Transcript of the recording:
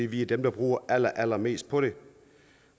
vi er dem der bruger allerallerflest på det